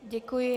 Děkuji.